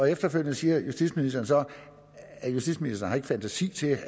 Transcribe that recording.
efterfølgende siger justitsministeren så at justitsministeren ikke har fantasi til at